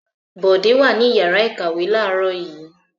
Bọ̀dé wà ní ìyàrá-ìkàwé láàárọ̀ yìí?